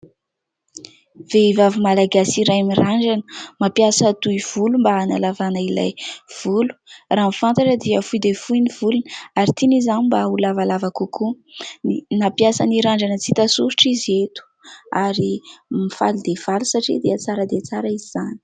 Vehivavy malagasy iray mirandrana mampiasa tohy volo mba hanalavana ilay volo raha ny fantatra dia fohy dia fohy ny volony ary tian'izany mba ho lavalava kokoa. Nampiasa ny randrana tsy hita soritra izy eto ary mifaly dia faly satria dia tsara dia tsara izy izany.